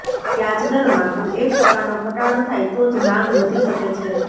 વ્યાજદરમાં કુલ એક ટકાનો ઘટાડો થાય તો જ માંગ વધી શકે છે